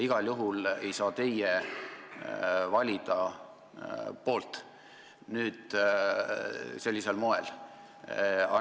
Igal juhul ei saa teie sellisel moel poolt valida.